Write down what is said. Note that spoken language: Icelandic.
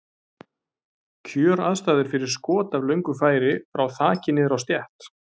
Kjöraðstæður fyrir skot af löngu færi, frá þaki niður á stétt.